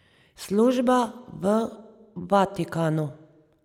Služba v Vatikanu.